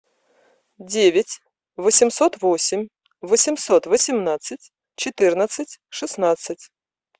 девять восемьсот восемь восемьсот восемнадцать четырнадцать шестнадцать